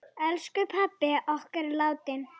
Elsku pabbi okkar er látinn.